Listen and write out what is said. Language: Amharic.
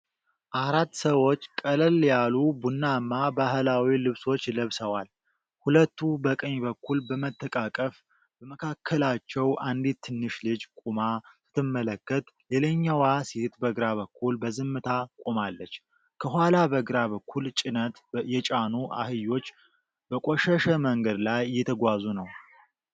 አራት ሰዎች ቀለል ያሉ ቡናማ ባህላዊ ልብሶች ለብሰዋል፤ ሁለቱ በቀኝ በኩል በመተቃቀፍ በመካከላቸው አንዲት ትንሽ ልጅ ቆማ ስትመለከት፣ ሌላኛዋ ሴት በግራ በኩል በዝምታ ቆማለች። ከኋላ በግራ በኩል ጭነት የጫኑ አህዮች በቆሸሸ መንገድ ላይ እየተጓዙ ነው።